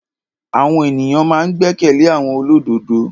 Àwọn èyàn ma n gbẹ́kẹ̀lé àwọn olódodo.